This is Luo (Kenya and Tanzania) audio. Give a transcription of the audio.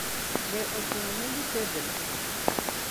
Be ochuno ni githedhre?